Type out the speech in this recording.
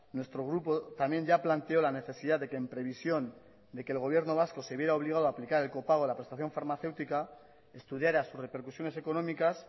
nuestro grupo también ya planteó la necesidad de que en previsión de que el gobierno vasco se viera obligado a aplicar el copago en la prestación farmacéutica estudiara sus repercusiones económicas